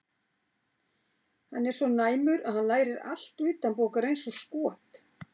Hann er svo næmur að hann lærir allt utanbókar eins og skot.